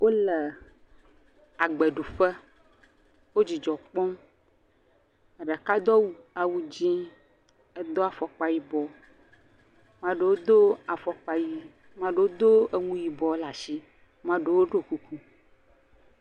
Wole agbeɖuƒe wo dzidzɔ kpɔm ɖeka do awu dzĩ do afɔkpa yibɔ ame aɖewo do afɔkpa ɣi ame aɖewo do nu yibɔ ɖe asi woɖɔ kuku